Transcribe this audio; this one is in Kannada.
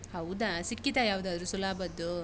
ಹೌದಾ, ಸಿಕ್ಕಿತಾ ಯಾವ್ದಾದ್ರೂ ಸುಲಾಭದ್ದು?